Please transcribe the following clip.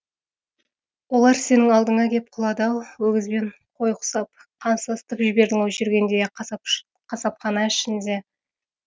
олар сенің алдыңа кеп құлады ау өгіз бен қой құсап қан сасытып жібердің ау жүргендей ақ қасапхана ішінде